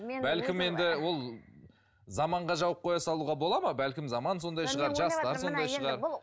бәлкім енді ол заманға жауып қоя салуға бола ма бәлкім заман сондай шығар жастар сондай шығар